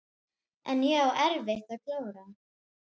En ég á eftir að klára.